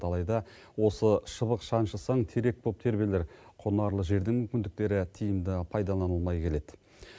алайда осы шыбық шаншысаң терек боп тербелер құнарлы жердің мүмкіндіктері тиімді пайдаланылмай келеді